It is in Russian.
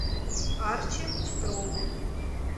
арчи петрову